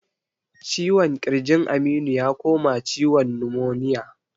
Ciwon kirjin Aminu ya koma ciwon numoniya